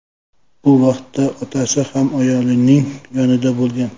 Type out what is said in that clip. Bu vaqtda otasi ham ayolning yonida bo‘lgan.